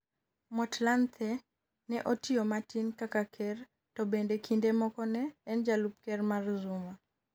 Motlanthe ne otiyo matin kaka ker to bende kinde moko ne en jalup ker mar Zuma